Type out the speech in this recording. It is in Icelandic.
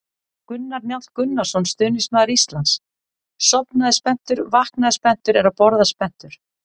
Gunnar Njáll Gunnarsson, stuðningsmaður Íslands: Sofnaði spenntur, vaknaði spenntur, er að borða spenntur!